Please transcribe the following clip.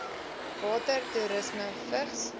water toerisme vigs